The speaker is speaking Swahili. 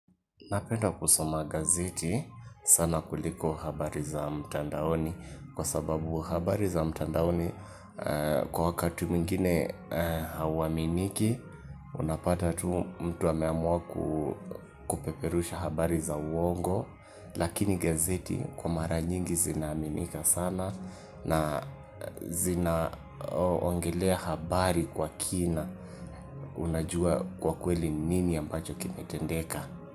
Napenda kusoma gazeti sana kuliko habari za mtandaoni kwa sababu habari za mtandaoni kwa wakati mwingine hauaminiki unapata tu mtu ameamua kupeperusha habari za uongo lakini gazeti kwa mara nyingi zinaaminika sana na zina ongelea habari kwa kina unajua kwa kweli ni nini ambacho kimetendeka.